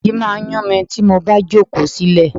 Ìdí máa ń yun mi tí mo bá jókòó silẹ.